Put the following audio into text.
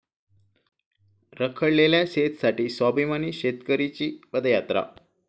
रखडलेल्या सेझसाठी 'स्वाभिमानी शेतकरी'ची पदयात्रा